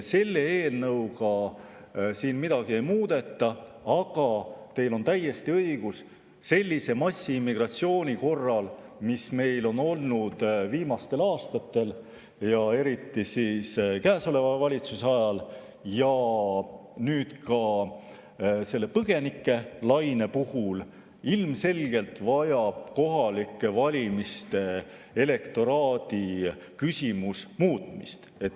Selle eelnõuga siin midagi ei muudeta, aga teil on täiesti õigus: sellise massiimmigratsiooni korral, mis meil on olnud viimastel aastatel, eriti käesoleva valitsuse ajal ja nüüd ka põgenikelaine puhul, vajab kohalike valimiste elektoraadi küsimus ilmselgelt muutmist.